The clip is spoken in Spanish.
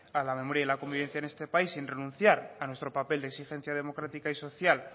a la memoria y la convivencia en este país sin renunciar a nuestro papel de exigencia democrática y social